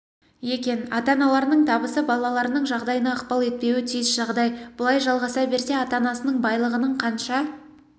екен ата-аналарының табысы балаларының жағдайына ықпал етпеуі тиіс жағдай бұлай жалғаса берсе ата-анасының байлығының қанша